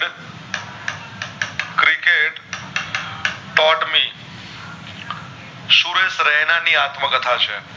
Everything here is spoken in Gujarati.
સુરેશ રેના ની આત્મકથા છે